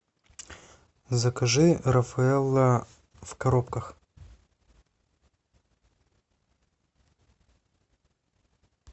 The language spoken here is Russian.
закажи рафаэлло в коробках